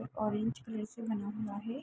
Orange colour से बना हुआ है।